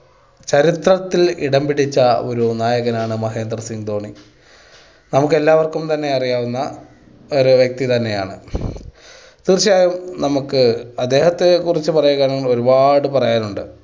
ചരിത്രത്തിൽ ഇടം പിടിച്ച ഒരു നായകനാണ് മഹേന്ദ്ര സിംഗ് ധോണി. നമുക്ക് എല്ലാവർക്കും തന്നെ അറിയാവുന്ന ഒരു വ്യക്തി തന്നെയാണ്. തീർച്ചയായും നമുക്ക് അദ്ദേഹത്തെ കുറിച്ച് പറയുകയാണെങ്കിൽ ഒരുപാട് പറയാനുണ്ട്.